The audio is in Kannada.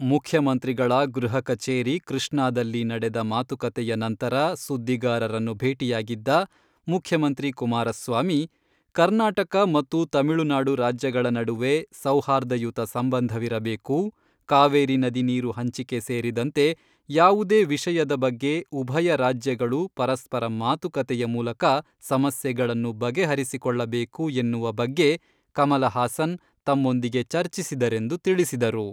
ಮುಖ್ಯಮಂತ್ರಿಗಳ ಗೃಹಕಚೇರಿ ಕೃಷ್ಣಾದಲ್ಲಿ ನಡೆದ ಮಾತುಕತೆಯ ನಂತರ ಸುದ್ದಿಗಾರರನ್ನು ಭೇಟಿಯಾಗಿದ್ದ ಮುಖ್ಯಮಂತ್ರಿ ಕುಮಾರಸ್ವಾಮಿ, ಕರ್ನಾಟಕ ಮತ್ತು ತಮಿಳುನಾಡು ರಾಜ್ಯಗಳ ನಡುವೆ ಸೌಹಾರ್ದಯುತ ಸಂಬಂಧವಿರಬೇಕು ಕಾವೇರಿ ನದಿ ನೀರು ಹಂಚಿಕೆ ಸೇರಿದಂತೆ ಯಾವುದೇ ವಿಷಯದ ಬಗ್ಗೆ ಉಭಯ ರಾಜ್ಯಗಳು ಪರಸ್ಪರ ಮಾತುಕತೆಯ ಮೂಲಕ ಸಮಸ್ಯೆಗಳನ್ನು ಬಗೆಹರಿಸಿಕೊಳ್ಳಬೇಕು ಎನ್ನುವ ಬಗ್ಗೆ ಕಮಲಹಾಸನ್ ತಮ್ಮೊಂದಿಗೆ ಚರ್ಚಿಸಿದರೆಂದು ತಿಳಿಸಿದರು.